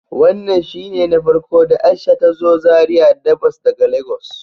Wannan shine na farko da Aisha ta zo Zaria da bas daga lagos.